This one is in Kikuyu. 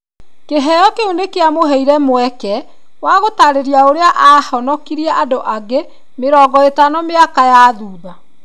Kĩheo kĩu nĩ kĩamũheire mweke wa gũtaarĩria ũrĩa aahonokirie andũ angĩ mĩrongo ĩtano mĩaka ya thuutha.